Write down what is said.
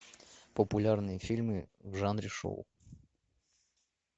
популярные фильмы в жанре шоу